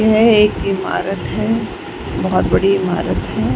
यह एक इमारत है। बोहोत बड़ी इमारत है।